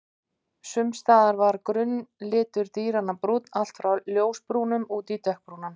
Sums staðar var grunnlitur dýranna brúnn, allt frá ljósbrúnum út í mjög dökkbrúnan.